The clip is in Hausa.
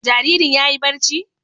Jaririn ya yi barci?